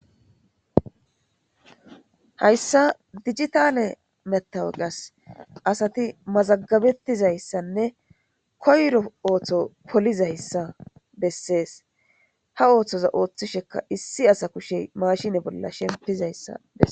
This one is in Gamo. Hayssa dijitale matawokasi asati mazagabettizayssanne koyro ootho polizayssa bessesi. Ha oothoza oothishe issi asaza kusheyi maashine bolla shemppizayssa bessesi.